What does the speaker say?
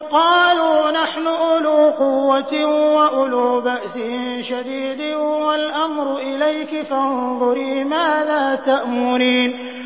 قَالُوا نَحْنُ أُولُو قُوَّةٍ وَأُولُو بَأْسٍ شَدِيدٍ وَالْأَمْرُ إِلَيْكِ فَانظُرِي مَاذَا تَأْمُرِينَ